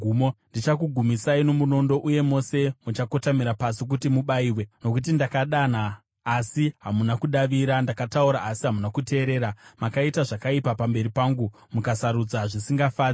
ndichakuendesai kumunondo, uye mose muchakotamira pasi kuti mubayiwe, nokuti ndakadana asi hamuna kudavira, ndakataura asi hamuna kuteerera. Makaita zvakaipa pamberi pangu mukasarudza zvisingandifadzi.”